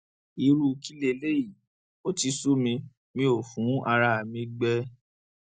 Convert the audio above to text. irú kí leléyìí ó ti sú mi ó fún ara mi gbé